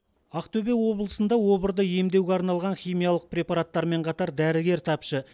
ақтөбе облысында обырды емдеуге арналған химиялық препараттармен қатар дәрігер тапшы